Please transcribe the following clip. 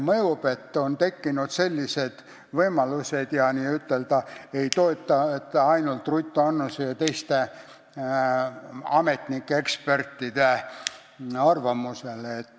Nüüd on tekkinud sellised võimalused ja ei toetuta ainult Ruth Annuse või teiste ametnike ja ekspertide arvamusele.